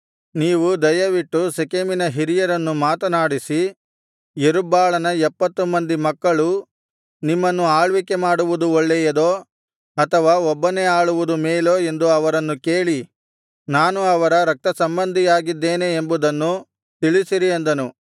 ನೀವು ದಯವಿಟ್ಟು ಶೆಕೆಮಿನ ಹಿರಿಯರನ್ನು ಮಾತನಾಡಿಸಿ ಯೆರುಬ್ಬಾಳನ ಎಪ್ಪತ್ತು ಮಂದಿ ಮಕ್ಕಳು ನಿಮ್ಮನ್ನು ಆಳ್ವಿಕೆ ಮಾಡುವುದು ಒಳ್ಳೆಯದೋ ಅಥವಾ ಒಬ್ಬನೇ ಆಳುವುದು ಮೇಲೋ ಎಂದು ಅವರನ್ನು ಕೇಳಿ ನಾನು ಅವರ ರಕ್ತಸಂಬಂಧಿಯಾಗಿದ್ದೇನೆ ಎಂಬುದನ್ನು ತಿಳಿಸಿರಿ ಅಂದನು